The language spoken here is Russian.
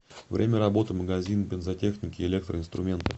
время работы магазин бензотехники и электроинструмента